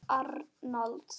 Ragnar Arnalds